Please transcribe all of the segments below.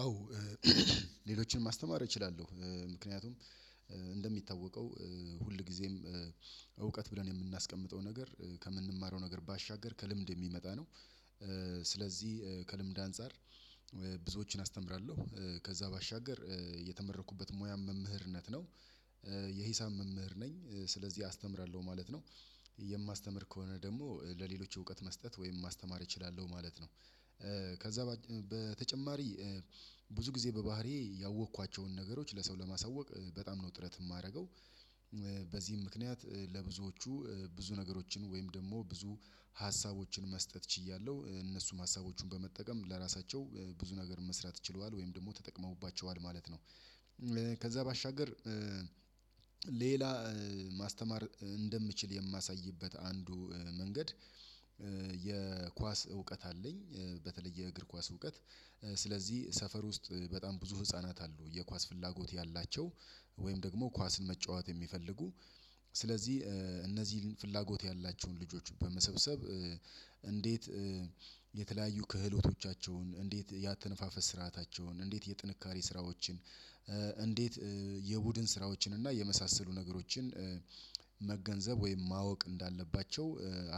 አዎ ሌሎችን ማስተማር እችላለሁ ምክንያቱም እንደሚታወቀው ሁል ሁልጊዜም እውቀት ብለን የምናስቀምጠው ነገር ከምንማረው ነገር ባሻገር ከልምድ የሚመጣ ነው። ስለዚህ ከልምድ አንፃር ብዙዎችን አስተምራለሁ ከዛ ባሻገር የተመረቅኩበት ሙያም መምህርነት ነው። የሂሳብ መምህር ነኝ ስለዚህ አስተምራለሁ ማለት ነው። የማስተምር ከሆነ ደግሞ ለሌሎች እውቀት መስጠት ወይም ማስተማር እችላለሁ ማለት ነው። ከዛ በተጨማሪ ብዙ ጊዜ በባህሪዬ ያወቅኳቸውን ነገሮች ለሰው ለማሳወቅ በጣም ነው ጥረት የማደርገው። በዚህም ምክንያት ለብዙዎቹ ብዙ ነገሮችን ወይም ደግሞ ብዙ ሀሳቦችን መስጠት ችያለሁ እነሱም ሀሳቦቹን በመጠቀም ለራሳቸው ብዙ ነገር መስራት ችለዋል ወይም ደግሞ ተጠቅመውባቸዋል ማለት ነው። ከዛ ባሻገር ሌላ ማስተማር እንደምችል የማሳይበት አንዱ መንገድ። የኳስ እውቀት አለኝ በተለይ የእግር ኳስ እውቀት። ስለዚህ ሰፈር ውስጥ በጣም ብዙ ህፃናት አሉ የኳስ ፍላጎት ያላቸው። ወይም ደግሞ ኳስን መጫወት የሚፈልጉ። ስለዚህ እነዚህን ፍላጎት ያላቸውን ልጆች በመሰብሰብ እንዴት የተለያዩ ክህሎቶቻቸውን እንዴት የአተነፋፈስ ስርዓታቸውን እንዴት የጥንካሬ ስራዎችን እንዴት የቡድን ስራዎችን እና የመሳሰሉ ነገሮችን መገንዘብ ወይም ማወቅ እንዳለባቸው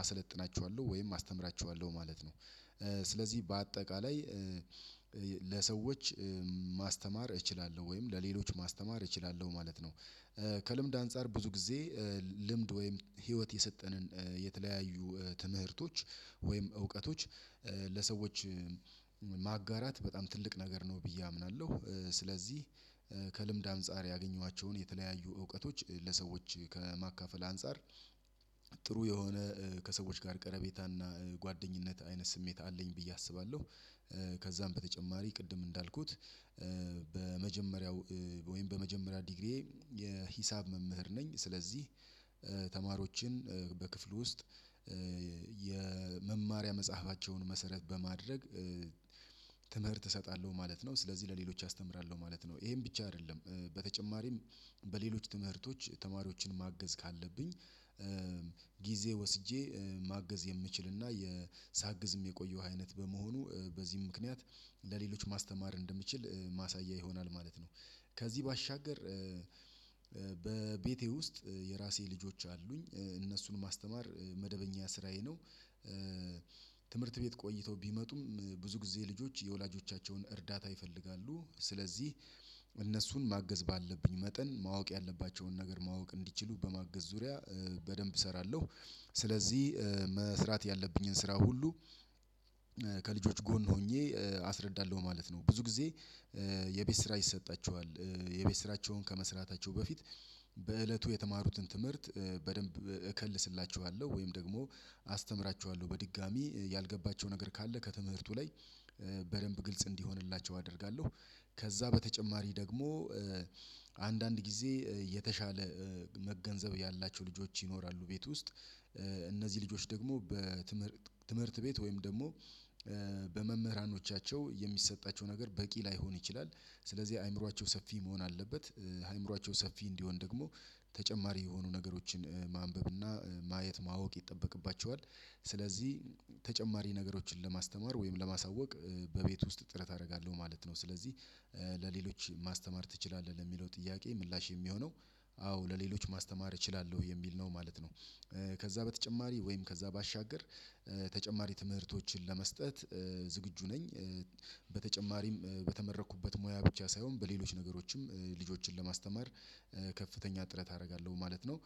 አሰለጥናቸዋለሁ ወይም አስተምራቸዋለሁ ማለት ነው። ስለዚህ በአጠቃላይ ለሰዎች ማስተማር እችላለሁ ወይም ለሌሎች ማስተማር እችላለሁ ማለት ነው። ከልምድ አንፃር ብዙ ጊዜ ልምድ ወይም ህይወት የሰጠንን የተለያዩ ትምህርቶች ወይም እውቀቶች ለሰዎች ማጋራት በጣም ትልቅ ነገር ነው ብዬ አምናለሁ። ስለዚህ ከልምድ አንፃር ያገኘዋቸውን የተለያዩ እውቀቶች ለሰዎች ከማካፈል አንፃር ጥሩ የሆነ ከሰዎች ጋር ቀረቤታ እና ጓደኝነት አይነት ስሜት አለኝ ብዬ አስባለሁ። ከዛም በተጨማሪ ቅድም እንዳልኩት በመጀመሪያው ወይም በመጀመሪያ ዲግሪዬ የሂሳብ መምህር ነኝ ስለዚህ ተማሪዎችን በክፍሉ ውስጥ የመማሪያ መጽሐፋቸውን መሰረት በማድረግ። ትምህርት እሰጣለሁ ማለት ነው ስለዚህ ለሌሎች አስተምራለሁ ማለት ነው ይሄን ብቻ አይደለም። በተጨማሪም በሌሎች ትምህርቶች ተማሪዎችን ማገዝ ካለብኝ ጊዜ ወስጄ ማገዝ የምችል እና ሳግዝም የቆየው አይነት በመሆኑ በዚህ ምክንያት ለሌሎች ማስተማር እንደምችል ማሳያ ይሆናል ማለት ነው። ከዚህ ባሻገር በቤቴ ውስጥ የራሴ ልጆች አሉኝ እነሱን ማስተማር መደበኛ ስራዬ ነው። ትምህርት ቤት ቆይተው ቢመጡም ብዙ ጊዜ ልጆች የወላጆቻቸውን እርዳታ ይፈልጋሉ ስለዚህ እነሱን ማገዝ ባለብኝ መጠን ማወቅ ያለባቸውን ነገር ማወቅ እንዲችሉ በማገዝ ዙሪያ በደንብ እሰራለሁ። ስለዚህ መስራት ያለብኝን ስራ ሁሉ ከልጆች ጎን ሆኜ አስረዳለሁ ማለት ነው። ብዙ ጊዜ የቤት ስራ ይሰጣቸዋል። የቤት ስራቸውን ከመስራታቸው በፊት በእለቱ የተማሩትን ትምህርት በደንብ እከልስላችኋለሁ ወይም ደግሞ አስተምራችኋለሁ በድጋሚ ያልገባቸው ነገር ካለ ከትምህርቱ ላይ በደንብ ግልጽ እንዲሆንላቸው አደርጋለሁ። ከዛ በተጨማሪ ደግሞ አንዳንድ ጊዜ የተሻለ መገንዘብ ያላቸው ልጆች ይኖራሉ ቤት ውስጥ እነዚህ ልጆች ደግሞ ትምህርት ቤት ወይም ደግሞ በመምህራኖቻቸው የሚሰጣቸው ነገር በቂ ላይሆን ይችላል። ስለዚህ አእምሮአቸው ሰፊ መሆን አለበት። አእምሮአቸው ሰፊ እንዲሆን ደግሞ ተጨማሪ የሆኑ ነገሮችን ማንበብ እና ማየት ማወቅ ይጠበቅባቸዋል። ስለዚህ ተጨማሪ ነገሮችን ለማስተማር ወይም ለማሳወቅ በቤት ውስጥ ጥረት አደርጋለሁ ማለት ነው። ስለዚህ ለሌሎች ማስተማር ትችላለህ ለሚለው ጥያቄ ምላሽ የሚሆነው አዎ ለሌሎች ማስተማር እችላለሁ የሚል ነው ማለት ነው። ከዛ በተጨማሪ ወይም ከዛ ባሻገር ተጨማሪ ትምህርቶችን ለመስጠት ዝግጁ ነኝ። በተጨማሪም በተመረኩበት ሙያ ብቻ ሳይሆን በሌሎች ነገሮችም ልጆችን ለማስተማር ከፍተኛ ጥረት አደርጋለሁ ማለት ነው።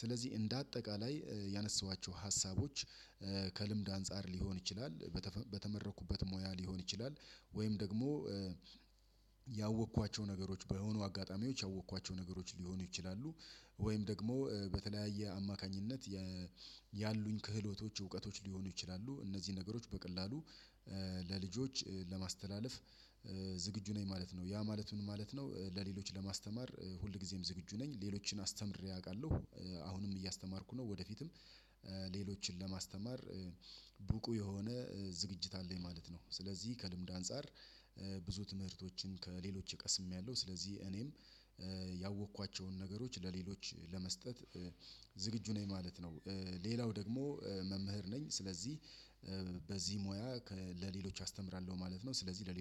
ስለዚህ እንደ አጠቃላይ ያነሳኋቸው ሀሳቦች ከልምድ አንፃር ሊሆን ይችላል። በተመረቅኩበት ሙያ ሊሆን ይችላል ወይም ደግሞ ያወቅኳቸው ነገሮች በሆኑ አጋጣሚዎች ያወቅኳቸው ነገሮች ሊሆኑ ይችላሉ። ወይም ደግሞ በተለያየ አማካኝነት ያሉኝ ክህሎቶች እውቀቶች ሊሆኑ ይችላሉ። እነዚህ ነገሮች በቀላሉ ለልጆች ለማስተላለፍ ዝግጁ ነኝ ማለት ነው። ያ ማለት ምን ማለት ነው? ለሌሎች ለማስተማር ሁልጊዜም ዝግጁ ነኝ ሌሎችን አስተምሬ አውቃለሁ። አሁንም እያስተማርኩ ነው። ወደፊትም ሌሎችን ለማስተማር ብቁ የሆነ ዝግጅት አለኝ ማለት ነው። ስለዚህ ከልምድ አንፃር ብዙ ትምህርቶችን ከሌሎች ቀስሜያለሁ ስለዚህ እኔም ያወቅኳቸውን ነገሮች ለሌሎች ለመስጠት ዝግጁ ነኝ ማለት ነው። ሌላው ደግሞ መምህር ነኝ ስለዚህ በዚህ ሙያ ለሌሎች አስተምራለሁ ማለት ነው። ስለዚህ ለሌሎች